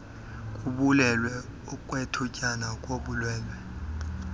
kubulwelwe kwethutyana ubulwelwe